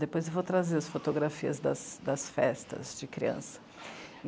Depois eu vou trazer as fotografias das das festas de criança.